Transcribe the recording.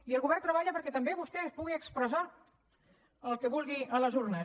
i el govern treballa perquè també vostè pugui expressar el que vulgui a les urnes